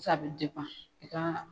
a bɛ i ka